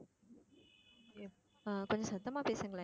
ஆஹ் கொஞ்சம் சத்தமா பேசுங்களேன்